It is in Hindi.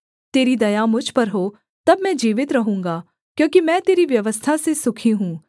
तेरी दया मुझ पर हो तब मैं जीवित रहूँगा क्योंकि मैं तेरी व्यवस्था से सुखी हूँ